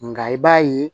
Nka i b'a ye